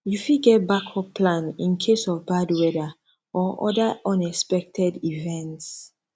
you fit get backup plan in case of bad weather or other unexpected events